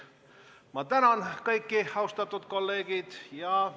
Ma tänan kõiki, austatud kolleegid!